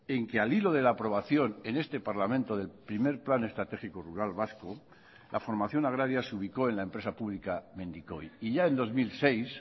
en que al hilo de la aprobación en este parlamento del primer plan estratégico rural vasco la formación agraria se ubicó en la empresa pública mendikoi y ya en dos mil seis